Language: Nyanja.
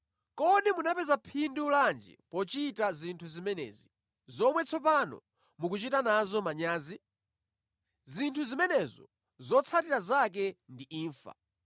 Kodi munapeza phindu lanji pochita zinthu zimenezi, zomwe tsopano mukuchita nazo manyazi? Zinthu zimenezo zotsatira zake ndi imfa!